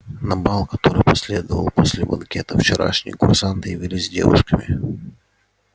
на бал который последовал после банкета вчерашние курсанты явились с девушками